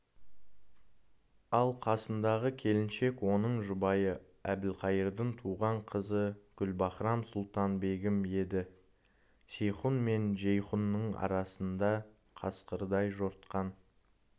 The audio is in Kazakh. ал қасындағы келіншек оның жұбайы әбілқайырдың туған қызы гүлбаһрам-сұлтан-бегім еді сейхун мен жейхунның арасында қасқырдай жортқан